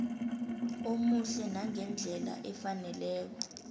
omuhle nangendlela efaneleko